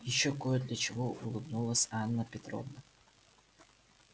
и ещё коп для чего улыбнулась анна петровна